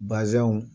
Bazɛnw